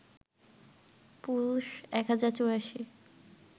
পুরুষ ১০৮৪